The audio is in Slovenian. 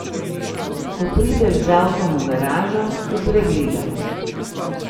Ko prideš z avtom v garažo, te pregledajo.